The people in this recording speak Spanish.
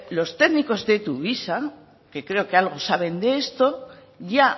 los técnicos de tuvisa que creo que algo saben de esto ya